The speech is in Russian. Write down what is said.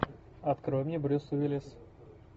открой мне брюс уиллис